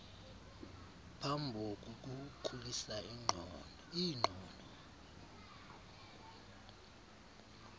phambo kukukhulisa iingqondo